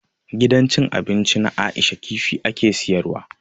Gidan cin abinci na Aisha kifi ake siyar wa.